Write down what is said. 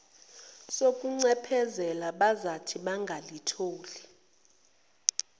sokuncephezelwa bazathi bangalithola